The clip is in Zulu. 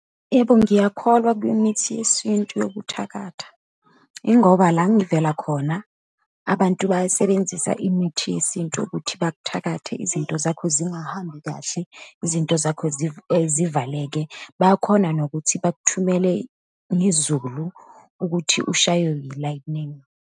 Yebo, ngiyakholwa kwimithi yesintu yokuthakatha Yingoba la ngivela khona, abantu bayasebenzisa imithi yesintu ukuthi bakuthakathe, izinto zakho zingahambi kahle, izinto zakho zivaleke, bayakhona nokuthi bakuthumele ngezulu ukuthi ushaywe yi-lightning.